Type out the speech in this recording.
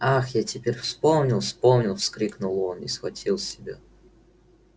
ах я теперь вспомнил вспомнил вскрикнул он и схватил себя